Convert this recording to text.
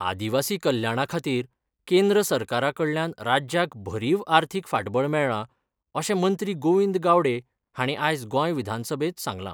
आदीवासी कल्याणा खातीर केंद्र सरकारा कडल्यान राज्याक भरीव आर्थिक फाटबळ मेळ्ळा अशें मंत्री गोविंद गावडे हांणी आयज गोंय विधानसभेंत सांगलां.